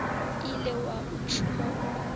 ile wa o tšhuma o